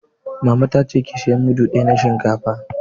Mama ta ce 'Ki saya mudu ɗaya na shinkafa'!